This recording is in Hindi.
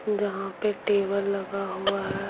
जहाँ पे टेबल लगा हुआ है।